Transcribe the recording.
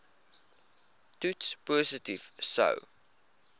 toets positief sou